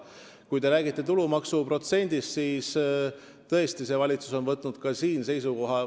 Kui te räägite tulumaksu protsendist, siis on see valitsus ka siin edasimineku teinud.